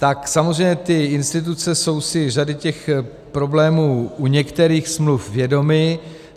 Tak samozřejmě ty instituce jsou si řady těch problémů u některých smluv vědomy.